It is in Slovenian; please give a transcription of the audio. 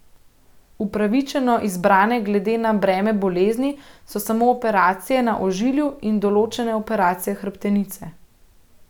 Upravičeno izbrane glede na breme bolezni so samo operacije na ožilju in določene operacije hrbtenice.